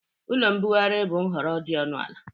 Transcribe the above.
Ụlọ mbugharị bụ nhọrọ dị ọnụ ala.